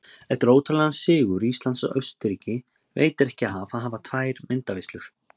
Eftir ótrúlegan sigur Íslands á Austurríki veitir ekki af að hafa tvær myndaveislur.